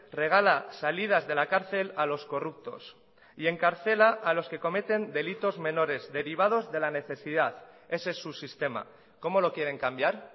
regala salidas de la cárcel a los corruptos y encarcela a los que cometen delitos menores derivados de la necesidad ese es su sistema cómo lo quieren cambiar